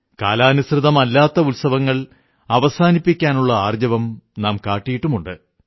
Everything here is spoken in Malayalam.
കാലാനുസൃതമല്ലാത്ത ഉത്സവങ്ങൾ അവസാനിപ്പിക്കാനുള്ള ധൈര്യം നാം കണ്ടിട്ടുണ്ട്